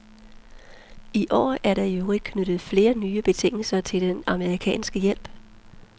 I år er der i øvrigt knyttet flere nye betingelser til den amerikanske hjælp.